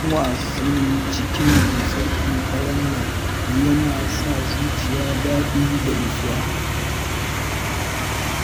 Kallon wasan cikin dusar ƙanƙarar nan yana sa zuciya daɗi da nutsuwa